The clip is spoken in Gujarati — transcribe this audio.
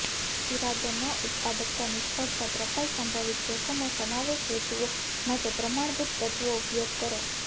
ઈરાદો ન ઉત્પાદક નિષ્ફળતા ત્રપાઈ સંભવિત જોખમો સમાવેશ હેતુઓ માટે પ્રમાણભૂત તત્વો ઉપયોગ કરો